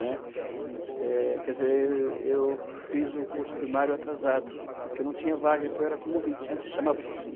né. Eh, quer dizer, eu fiz o curso primário atrasado, porque não tinha vaga, então era como ouvinte, antes chamava-se assim.